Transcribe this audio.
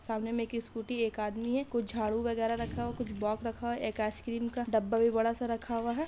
सामने मैं की एक इस स्कूटी एक आदमी है कुछ झाड़ू वगेरा रखा हो कुछ बॉक्स रखा हो एक आइसक्रीम का डब्बा भी बड़ा सा रखा हुआ हैं।